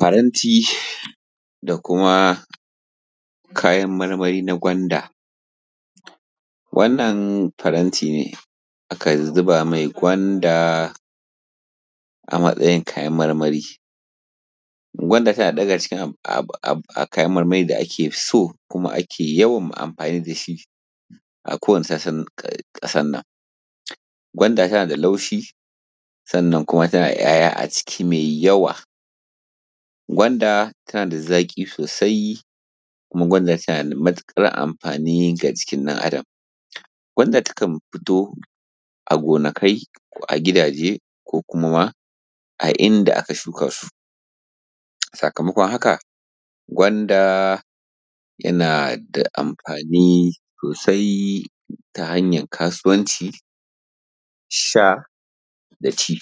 faranti da kuma kaayan marmari na gwanda wannan faranti ne aka zuba mai gwanda a matsayin kayan marmari. gwanda tana ɗaya daga cikin kayan marmari da ake so kuma ake yawan anfani da shi a kowanne sassa na ƙasarnan. Gwanda tana da laushi sannan kuma tana da ‘ya’ya mai yawa. Gwanda tana da zaƙi sosai kuma gwanda tana da matuƙar anfani ga jikin ɗan adam. Gwanda takan fito a gonaki ko a gidaje ko kuma ma a inda aka shukaa su. Sakamakon haka gwanda tana da anfani sosai ta hanyar kasuwanci sha da ci.